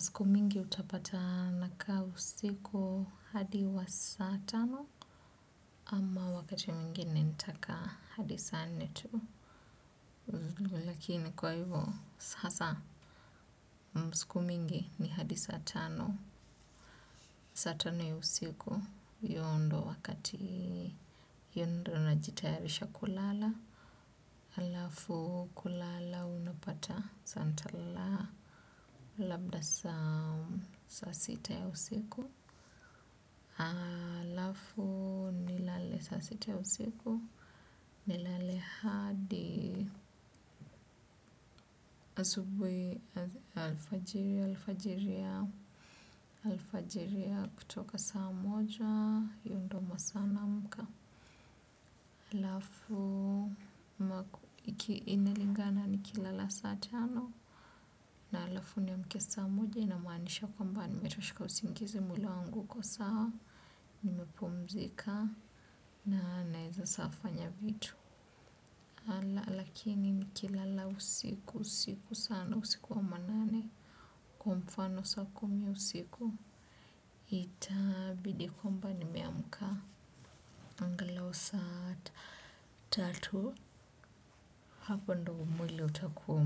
Siku mingi utapata nakaa usiku hadi wa saa tano, ama wakati mwingine nitakaa hadi saa nne tu. Lakini kwa hivyo, sasa, siku mingi ni hadi saa tano. Saa tano ya siku, hio ndo wakati hiyo ndo najitayarisha kulala. Halafu kulala unapata, sasa nitalala labda saa sita ya usiku. Halafu nilale saa sita ya usiku nilale hadi asubuhi alfajiri alfajiri ya kutoka saa moja hio ndo masaa naamka halafu inalingana nikilala saa tano. Na alafu nimke saa moja inamaanisha kwamba nimetosheka usingizi mwili wangu uko sawa nimepumzika na naeza sasa fanya vitu nalala lakini nikilala usiku usiku sana usiku wa manane kwa mfano saa kumi usiku ita bidi kwamba nimeamka angalau saa tatu hapo ndio mwili utakuwa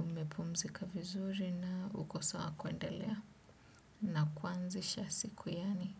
umepumzika vizuri na uko sawa kuendelea na kuanzisha siku yaani.